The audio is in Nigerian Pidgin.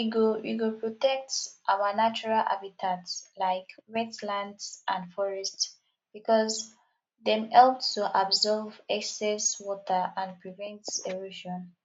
we go we go protect our natural habitats like wetlands and forests because dem help to absorb excess water and prevent erosion